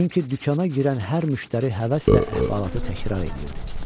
Çünki dükana girən hər müştəri həvəslə əhvalatı təkrar eləyirdi.